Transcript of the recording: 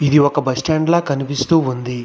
ఇది ఒక బస్టాండ్ లా కనిపిస్తూ ఉంది.